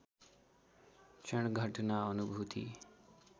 क्षण घटना अनुभूति